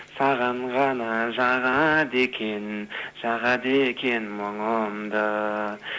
саған ғана шағады екем шағады екем мұңымды